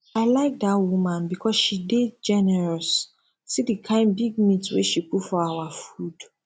i like dat woman because she dey generous see the kyn big meat wey she put for our food